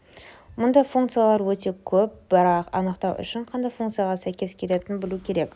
мұндай функциялар өте көп бірақ анықтау үшін қандай функцияға сәйкес келетінін білу керек